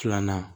Filanan